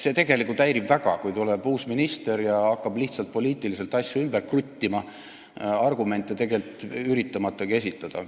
See tegelikult häirib väga, kui tuleb uus minister ja hakkab lihtsalt poliitiliselt asju ümber kruttima, üritamatagi argumente esitada.